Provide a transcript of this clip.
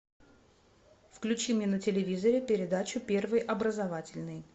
включи мне на телевизоре передачу первый образовательный